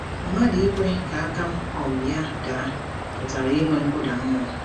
Mmadụ ikwe ka aka um ya daa pụtara inwe nkụda mmụọ.